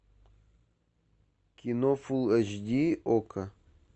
кино фул эйч ди окко